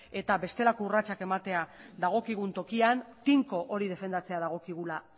eta bestelako urratsak ematea dagokigun tokian tinko hori defendatzea dagokigula